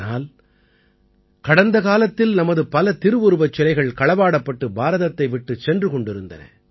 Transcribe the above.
ஆனால் கடந்த காலத்தில் நமது பல திருவுருவச் சிலைகள் களவாடப்பட்டு பாரதத்தை விட்டுச் சென்று கொண்டிருந்தன